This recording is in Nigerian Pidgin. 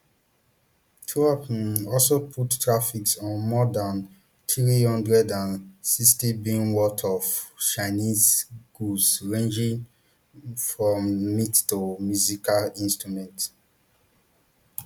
trump um also put tariffs on more dan three hundred and sixtybn worth of chinese goods ranging um from meat to musical instruments